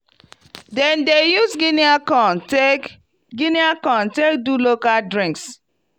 di people dey join hand take buld fence wey go protect dia farm from animals